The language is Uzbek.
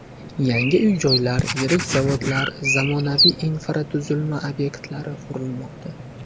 Yangi uy-joylar, yirik zavodlar, zamonaviy infratuzilma obyektlari qurilmoqda.